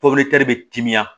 bɛ timiya